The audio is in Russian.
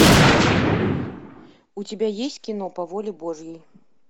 у тебя есть кино по воле божьей